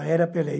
A era Pelé.